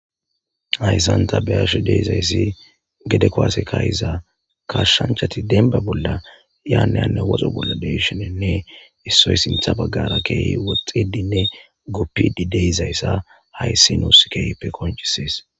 ayssanta beyashe deizayssi gede koase kahiza kashshanchati denba bolla yaanayanne woxo bolla deshenenne issoy sintha baggara keehi woxxedinne goppidi deyzayssa haysi nos keype konchisees